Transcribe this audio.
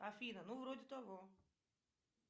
афина ну вроде того